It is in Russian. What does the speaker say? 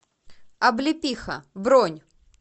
облепиха бронь